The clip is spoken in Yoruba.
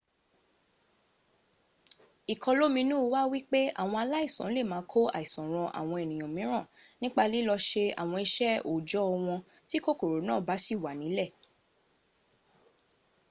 ìkọlóminú wà wípé àwọn aláìsàn lè máa kó àìsàn ran àwọn ènìyàn míràn nípa lilọ́ se àwọn iṣẹ́ òòjọ́ wọn tí kòkòrò náà bá sì wà nílẹ̀